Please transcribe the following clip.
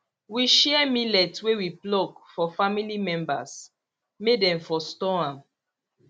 we share millet wey we pluck for family members may dem for store am